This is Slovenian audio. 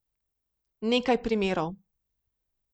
Nekaj primerov.